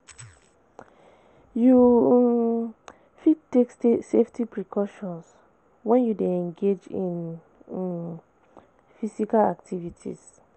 You um fit take safety precautions when you dey engage in um physical activities.